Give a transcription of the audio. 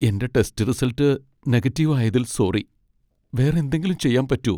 എന്റെ test result negative ആയതിൽ sorry. വേറെ എന്തെങ്കിലും ചെയ്യാൻ പറ്റോ ?